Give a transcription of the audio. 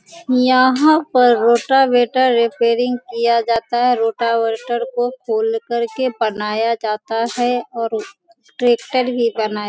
यहां पर rotavator repairing किया जाता हैं रोटावेटर को खोल करके बनाया जाता हैं और ट्रैक्टर भी बनाया --